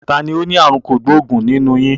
Tani ó ní àrùn kògbóògùn nínú yín?